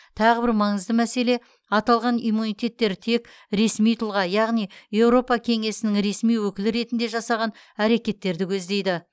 тағы бір маңызды мәселе аталған иммунитеттер тек ресми тұлға яғни еуропа кеңесінің ресми өкілі ретінде жасаған әрекеттерді көздейді